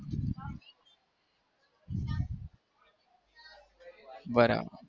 બરાબર